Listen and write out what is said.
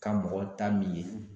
Ka mɔgɔ ta min ye.